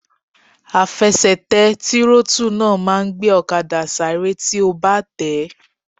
Àfẹsẹ̀tẹ̀ tírótù náà máa n gbé ọ̀kadà sáré tí o bá tẹ̀ẹ́